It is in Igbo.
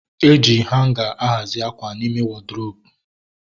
E ji hanga a hazi akwa n'ime wọdrobu